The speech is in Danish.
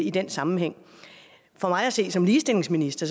i den sammenhæng for mig at se som ligestillingsminister